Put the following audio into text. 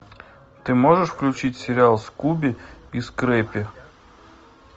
ты можешь включить сериал скуби и скрепи